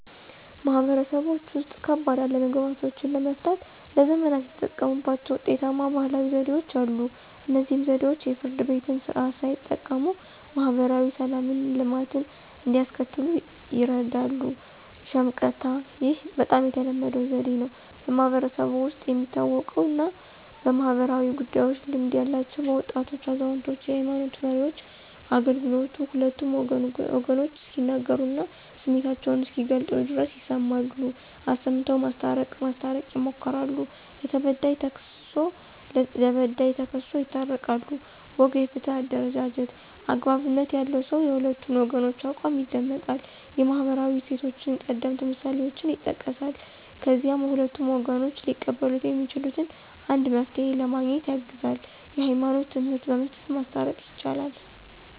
ማህበረሰቦች ውስጥ፣ ከባድ አለመግባባቶችን ለመፍታት ለዘመናት የተጠቀሙባቸው ውጤታማ ባህላዊ ዘዴዎች አሉ። እነዚህ ዘዴዎች የፍርድ ቤትን ስርዓት ሳይጠቀሙ ማህበራዊ ሰላምና ልማትን እንዲያስከትሉ ይርዳሉ። ሽምቀታ (፦ ይህ በጣም ተለመደው ዘዴ ነው። በማህበረሰቡ ውስጥ የሚታወቁና በማኅበራዊ ጉዳዮች ልምድ ያላቸው (በወጣቶች፣ አዛውንቶች፣ የሃይማኖት መሪዎች) አገልግሎቱ ሁለቱም ወገኖች እስኪናገሩና ስሜታቸውን እስኪገልጹ ድረስ ይሰማሉ፣ አሰምተው ማስታረቅ ማስታረቅ ይሞክራሉ። ለተበዳይ ተክስሶ ለበዳይ ተክሶ ይታረቃሉ። ወግ (የፍትህ አደረጃጀት)፦ )" አግባብነት ያለው ሰው የሁለቱን ወገኖች አቋም ይደመጣል፣ የማህበራዊ እሴቶችንና ቀደምት ምሳሌዎችን ይጠቅሳል፣ ከዚያም ሁለቱም ወገኖች ሊቀበሉት የሚችሉትን አንድ መፍትሄ ለማግኘት ያግዛል። የህይማኖት ትምህርት በመስጠት ማስታረቅ። ይቻላል